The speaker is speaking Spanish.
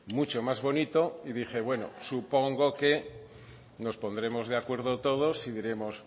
mucho más bonito y dije bueno supongo que nos pondremos de acuerdo todos y diremos